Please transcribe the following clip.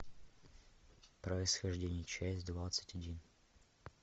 происхождение часть двадцать один